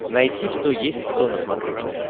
найти кто есть кто на смотрешке